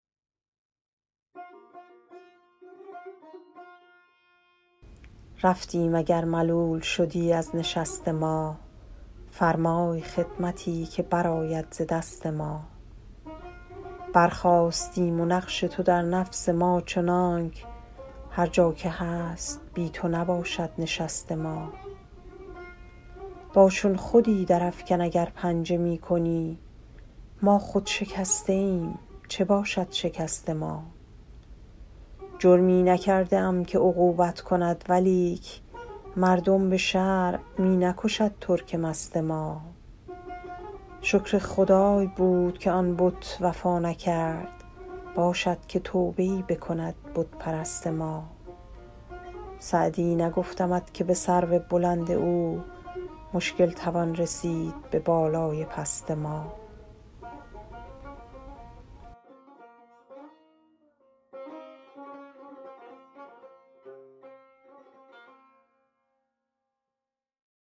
رفتیم اگر ملول شدی از نشست ما فرمای خدمتی که برآید ز دست ما برخاستیم و نقش تو در نفس ما چنانک هر جا که هست بی تو نباشد نشست ما با چون خودی درافکن اگر پنجه می کنی ما خود شکسته ایم چه باشد شکست ما جرمی نکرده ام که عقوبت کند ولیک مردم به شرع می نکشد ترک مست ما شکر خدای بود که آن بت وفا نکرد باشد که توبه ای بکند بت پرست ما سعدی نگفتمت که به سرو بلند او مشکل توان رسید به بالای پست ما